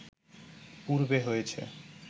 পূর্বে হয়েছে